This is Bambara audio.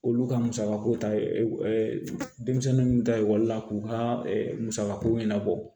Olu ka musakako ta ee denmisɛnnu ta ekɔli la k'u ka musakako ɲɛnabɔ